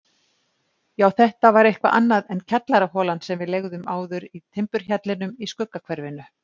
Já, þetta var eitthvað annað en kjallaraholan sem við leigðum áður í timburhjallinum í Skuggahverfinu.